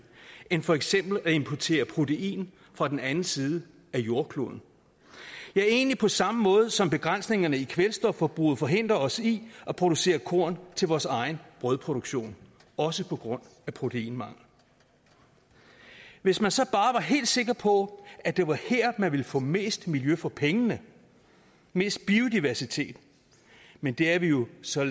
end for eksempel at importere protein fra den anden side af jordkloden ja egentlig på samme måde som begrænsningerne i kvælstofforbruget forhindrer os i at producere korn til vores egen brødproduktion også på grund af proteinmangel hvis man så bare var helt sikker på at det var her man ville få mest miljø for pengene mest biodiversitet men det er vi jo så